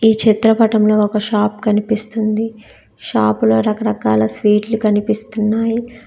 చిత్రపటంలో ఒక షాప్ కనిపిస్తుంది షాపులో రకరకాల స్వీట్లు కనిపిస్తున్నాయి.